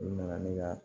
U nana ne ka